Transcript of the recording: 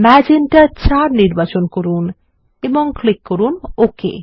magenta ৪ নির্বাচন করুন এবং ক্লিক করুন ওকে